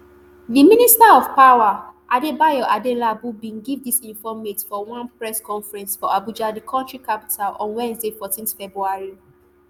di minister of power adebayo adelabu bin give dis informate for one press conference for abuja di kontri capital on wednesday fourteen february